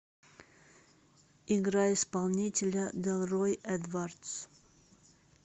играй исполнителя делрой эдвардс